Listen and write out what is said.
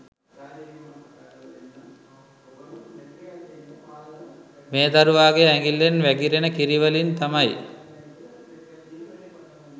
මේ දරුවාගේ ඇඟිල්ලෙන් වැගිරෙන කිරිවලින් තමයි